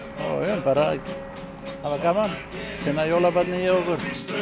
bara að hafa gaman finna jólabarnið í okkur